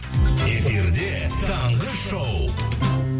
эфирде таңғы шоу